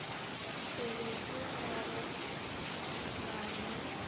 pebetse ga go na le